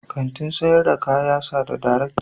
Kantin sayar da kaya sa da darekta.